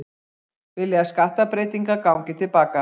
Vilja að skattabreytingar gangi til baka